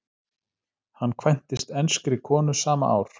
Hann kvæntist enskri konu sama ár.